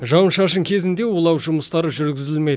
жауын шашын кезінде улау жұмыстары жүргізілмейді